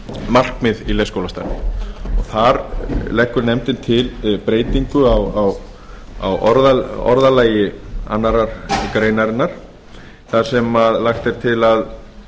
markmið í leikskólastarfi þar leggur nefndin til breytingu á orðalagi annarrar greinar þar sem lagt er til að